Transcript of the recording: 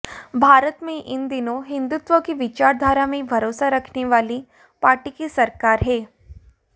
भारत में इन दिनों हिंदुत्व की विचारधारा में भरोसा रखने वाली पार्टी की सरकार है